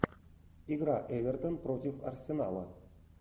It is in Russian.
игра эвертон против арсенала